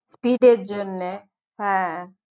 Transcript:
Speed এর জন্যে